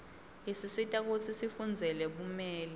isisita kutsi sifundzele bumeli